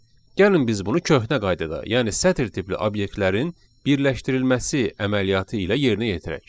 Gəlin biz bunu köhnə qaydada, yəni sətr tipli obyektlərin birləşdirilməsi əməliyyatı ilə yerinə yetirək.